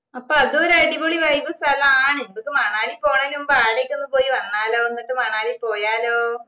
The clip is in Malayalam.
അപ്പൊ അത് ഒരു അടിപൊളി vibe സ്ഥലാണ് മ്മക്ക് മണാലി പോന്നേനു മുമ്പ് ആടയൊക്കെ പോയി വന്നാലോ ന്നിട്ട് മണാലി പോയാലോ